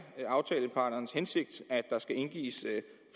aftaleparternes hensigt at der skal indgives